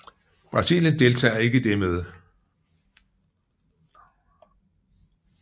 Brasilien deltager ikke i det møde